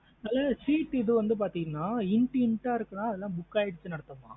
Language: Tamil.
ஆஹ் Seat இது வந்து பாத்தீங்க into into ஆஹ் இருக்குன அதெல்லாம book ஆயிருச்சுனு அர்த்தமா.